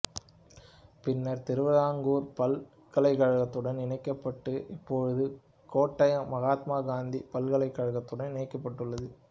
பின்னர் திருவிதாங்கூர் பல்கலைக்கழகத்துடன் இணைக்கப்பட்டது இப்போது கோட்டயம் மகாத்மா காந்தி பல்கலைக்கழகத்துடன் இணைக்கப்பட்டுள்ளது